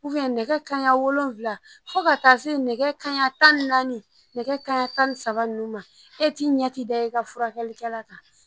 Uwiyɛn nɛgɛ kaɲan wolonwula fɔ ka taa se nɛgɛ kanɲa tan ni naani nɛgɛ kanɲa tan ni saba nunnu ma e t'i ɲɛ ti da e ka furakɛlikɛla kan